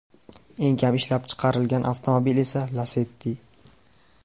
Eng kam ishlab chiqarilgan avtomobil esa Lacetti.